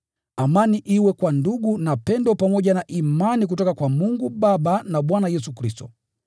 Amani iwe kwa ndugu, na pendo pamoja na imani kutoka kwa Mungu Baba na Bwana Yesu Kristo.